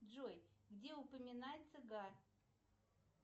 джой где упоминается гар